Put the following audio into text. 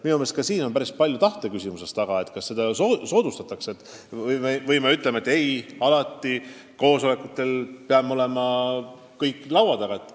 Minu meelest on asi päris palju ka tahtes kaugtööd soodustada ja mitte nõuda näiteks, et koosolekutel peame kõik laua taga olema.